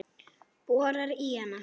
Borar í hana.